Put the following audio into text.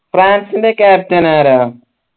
ഫ്രാൻസിന്റെ captain ആരാ